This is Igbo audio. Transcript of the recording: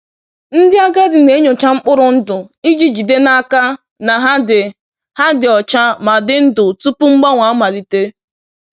Ndị agadi na-enyocha mkpụrụ ndụ iji jide n’aka na ha dị ha dị ọcha ma dị ndụ tupu mgbanwe amalite